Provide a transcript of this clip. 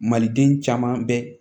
Maliden caman bɛ